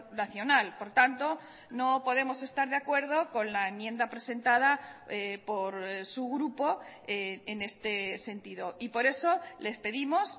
nacional por tanto no podemos estar de acuerdo con la enmienda presentada por su grupo en este sentido y por eso les pedimos